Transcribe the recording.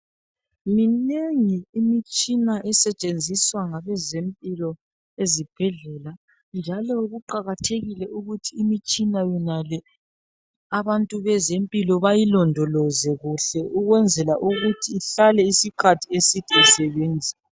Minengi imitshina esetshenziswa ngabezempilo ezibhedlela, njalo kuqakathekile ukuthi imitshina yonale abantu bezempilo bayilondoloze kuhle ukwenzela ukuthi ihlale isikhathi eside isebenza.